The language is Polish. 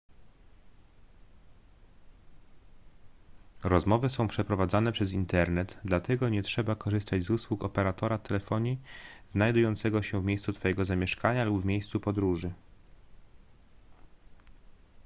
rozmowy są przeprowadzane przez internet dlatego nie trzeba korzystać z usług operatora telefonii znajdującego się w miejscu twojego zamieszkania lub w miejscu podróży